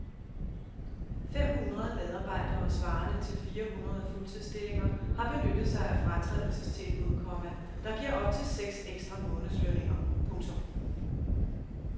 Fem hundrede medarbejdere svarende til fire hundrede fuldtidsstillinger har benyttet sig af fratrædelsestilbud, komma der giver op til seks ekstra månedslønninger. punktum